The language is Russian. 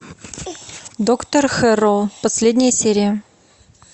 доктор хэрроу последняя серия